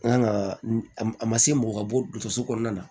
Nka a ma a ma se mɔgɔ ka bɔso kɔnɔna na